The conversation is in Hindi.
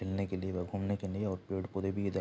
खेलने के लिए व घूमने के निए और पेड़ पौधे भी है इध् --